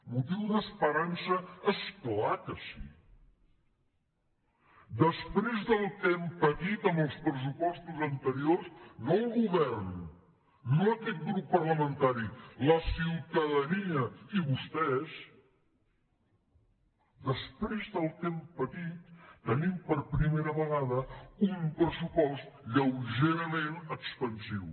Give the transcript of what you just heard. motiu d’esperança és clar que sí després del que hem patit amb els pressupostos anteriors no el go·vern no aquest grup parlamentari la ciutadania i vos·tès després del que hem patit tenim per primera vegada un pressupost lleugerament expansiu